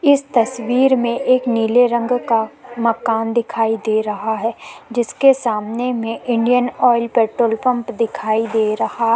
इस तस्वीर में एक नीले रंग का मकान दिखाई दे रहा है जिसके समाने में इंडियन आयल पेट्रोल पंप दिखाई दे रहा।